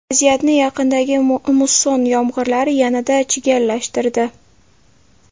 Vaziyatni yaqindagi musson yomg‘irlari yanada chigallashtirdi.